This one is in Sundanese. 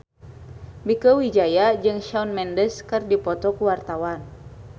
Mieke Wijaya jeung Shawn Mendes keur dipoto ku wartawan